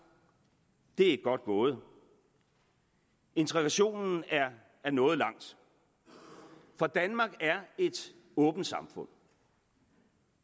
det er godt gået integrationen er nået langt for danmark er et åbent samfund